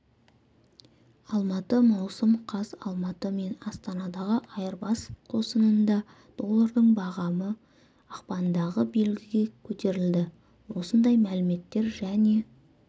алматы маусым қаз алматы мен астанадағы айырбас қосынында доллардың бағамы ақпандағы белгіге көтерілді осындай мәліметтер және